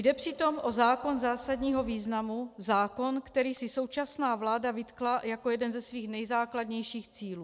Jde přitom o zákon zásadního významu, zákon, který si současná vláda vytkla jako jeden ze svých nejzákladnějších cílů.